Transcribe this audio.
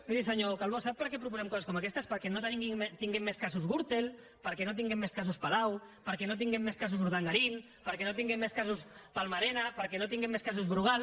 miri senyor calbó sap per què proposem coses com aquestes perquè no tinguem més casos gürtel perquè no tinguem més casos palau perquè no tinguem més casos urdangarin perquè no tinguem més casos palma arena perquè no tinguem més casos brugal